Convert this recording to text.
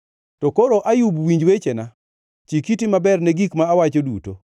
“To koro, Ayub winj wechena; chik iti maber ne gik ma awacho duto.